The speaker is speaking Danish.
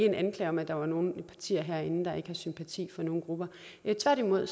en anklage om at der var nogle partier herinde der ikke har sympati for nogle grupper tværtimod